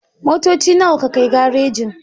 Motoci nawa ka kai garejin?